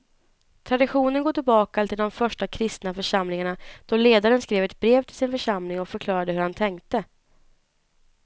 Traditionen går tillbaka till de första kristna församlingarna då ledaren skrev ett brev till sin församling och förklarade hur han tänkte.